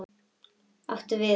Þú átt við.